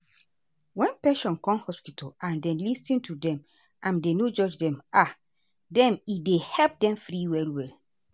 wen patient come hospital and dem lis ten to dem and dem no judge um dem e dey help dem free well well.